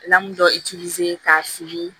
dɔkitɛrisa